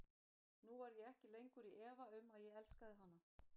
Nú var ég ekki lengur í efa um, að ég elskaði hana.